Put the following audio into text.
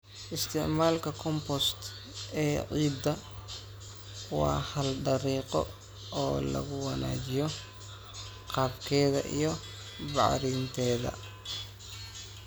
Isticmaalka compost ee ciidda waa hal dariiqo oo lagu wanaajiyo qaabkeeda iyo bacrinteeda.